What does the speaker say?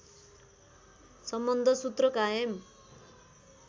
सम्बन्ध सूत्र कायम